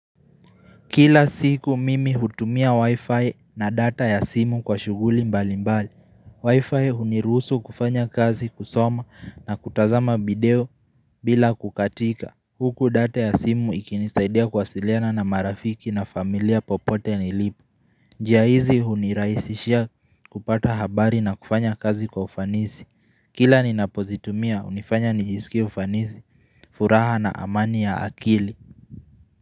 Kila siku mimi hutumia wi-fi na data ya simu kwa shughuli mbali mbali. Wi-fi hunirusu kufanya kazi, kusoma na kutazama video bila kukatika. Huku data ya simu ikinisaidia kuwasiliana na marafiki na familia popote nilipo. Njia hizi hunirahisishia kupata habari na kufanya kazi kwa ufanisi. Kila ninapozitumia hunifanya nijisikie ufanisi, furaha na amani ya akili.